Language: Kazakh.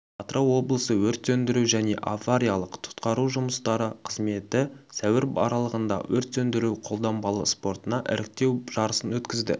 атырау облысы өрт сөндіру және авариялық-құтқару жұмыстары қызметі сәуір аралығында өрт сөндіру-қолданбалы спортына іріктеу жарысын өткізді